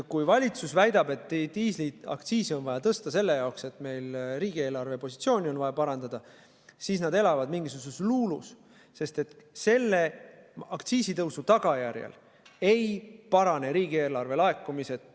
Kui valitsus väidab, et diisliaktsiisi on vaja tõsta selleks, et riigieelarve positsiooni parandada, siis nad elavad mingisuguses luulus, sest aktsiisitõusuga riigieelarve laekumised ei parane.